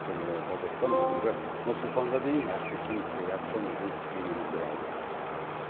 көне бозоқтан бүгінгі нұр сұлтанға дейін әріптесім риат шонидың бейнематериалында